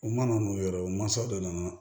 U mana n'u yɛrɛ u mansaw de nana